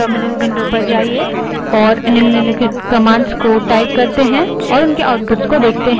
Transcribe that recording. terminal window पर जाएँ और commands type करें और उनके outputs देखें